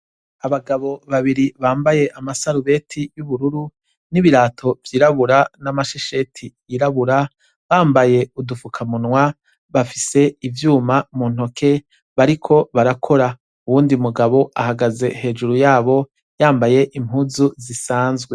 Abagabo babiri bambaye amasarubeti y'ubururu n'ibirato vyirabura n'amashesheti yirabura, bambaye udupfukamunwa, bafise ivyuma mu ntoke bariko barakora. Uwundi mugabo ahagaze hejuru yabo yamabaye impuzu zisanzwe.